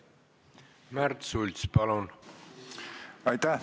Märt Sults, palun!